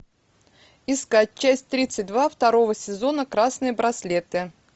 искать часть тридцать два второго сезона красные браслеты